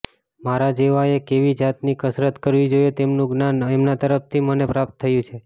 મારા જેવાએ કેવી જાતની કસરત કરવી જોઈએ તેમનું જ્ઞાન એમના તરફથી મને પ્રાપ્ત થયું છે